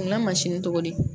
N ga tɔgɔ di